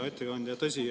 Hea ettekandja!